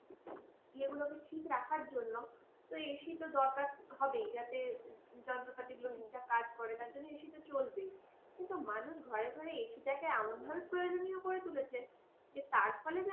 এ গুলোকে ঠিক রাখার জন্য তো ac তো দরকার হবে যাতে যন্ত্রপাতি গুলো ঠিকঠাক কাজ করে। তার জন্য ac তো চলবেই। কিন্তু মানুষ ঘরে ঘরে ac টাকে এমন ভাবে প্রয়োজনীয় করে তুলেছে, যে তার ফলে